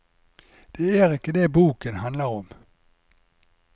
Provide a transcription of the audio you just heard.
Det er ikke det boken handler om.